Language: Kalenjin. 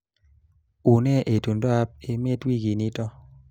Unee itondoab emet wikinito